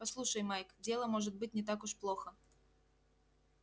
послушай майк дело может быть не так уж плохо